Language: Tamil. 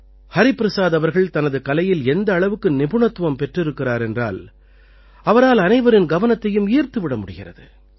ஹரிபிரசாத் அவர்கள் தனது கலையில் எந்த அளவுக்கு நிபுணத்துவம் பெற்றிருக்கிறார் என்றால் அவரால் அனைவரின் கவனத்தையும் ஈர்த்துவிட முடிகிறது